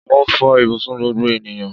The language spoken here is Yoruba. Mó fò ibùsùn gbogbo ènìyàn